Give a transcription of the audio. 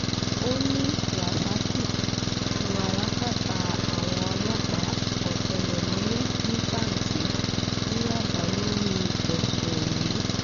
ó ní rasaki ti wà lákàtà àwọn ọlọ́pàá ọ̀tẹlẹ̀múyẹ́ ní panti ní yaba lórí ẹ̀sùn yìí